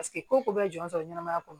Paseke ko ko bɛɛ jɔn sɔrɔ ɲɛnamaya kɔnɔ